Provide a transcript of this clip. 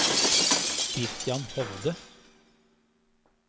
Christian Hovde